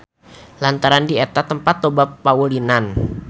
Lantaran di eta tempat loba paulinan.